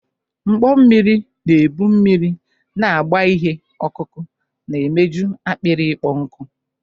Mkpọ mmiri na-ebu mmiri na-agba ihe ọkụkụ na-emeju akpịrị ịkpọ nkụ.